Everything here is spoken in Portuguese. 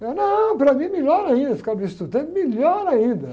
Eu, não, para mim é melhor ainda, ficar no estudante? Melhor ainda.